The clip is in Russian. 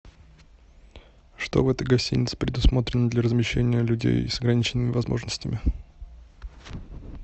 что в этой гостинице предусмотрено для размещения людей с ограниченными возможностями